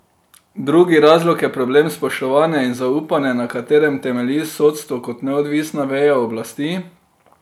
Drugi razlog je problem spoštovanja in zaupanja, na katerem temelji sodstvo kot neodvisna veja oblasti.